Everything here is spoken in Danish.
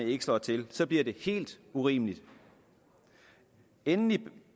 ikke slår til så bliver det helt urimeligt endelig